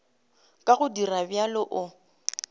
ka go dira bjalo o